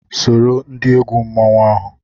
Soro ndị egwu mmanwụ ahụ!